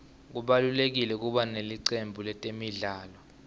kubalulekile kuba nelicembu letemidlalo